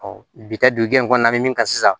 bi taa dugu in kɔnɔna na an bɛ min ka sisan